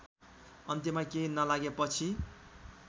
अन्त्यमा केही नलागेपछि